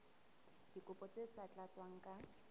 dikopo tse sa tlatswang ka